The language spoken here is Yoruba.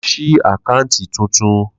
Lo̩ s̩í àkáàǹtì tuntun!